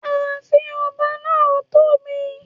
Ààfin ọba náà tóbi